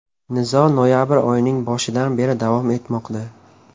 Nizo noyabr oyining boshidan beri davom etmoqda.